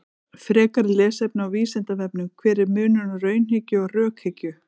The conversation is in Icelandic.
Frekara lesefni á Vísindavefnum: Hver er munurinn á raunhyggju og rökhyggju?